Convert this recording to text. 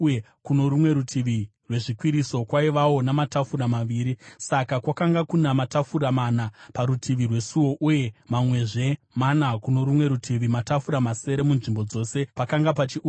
Saka kwakanga kuna matafura mana parutivi rwesuo uye mamwezve mana kuno rumwe rutivi, matafura masere munzvimbo dzose, pakanga pachiurayirwa zvibayiro.